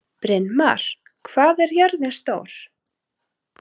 Brynmar, hvað er jörðin stór?